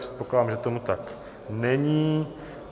Předpokládám, že tomu tak není.